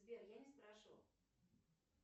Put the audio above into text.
сбер я не спрашивал